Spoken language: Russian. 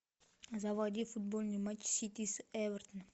заводи футбольный матч сити с эвертоном